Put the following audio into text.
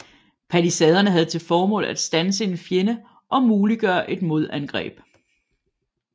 Palisaderne havde til formål at standse en fjende og muliggøre et modangreb